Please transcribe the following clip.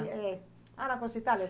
É. Ah, na Corsa Itália.